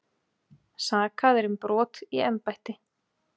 Sakaðir um brot í embætti